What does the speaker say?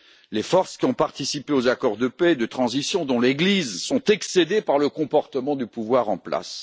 Les forces qui ont participé aux accords de paix et de transition, dont l'Église, sont excédées par le comportement du pouvoir en place.